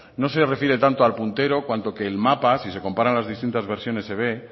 no se refiere tanto al puntero cuando que el mapa si se comparan las distintas versiones se ve